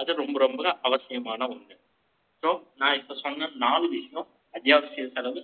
அது, ரொம்ப, ரொம்ப, அவசியமான ஒன்று. So, நான், இப்ப சொன்ன, நாலு விஷயம், அத்தியாவசிய செலவு,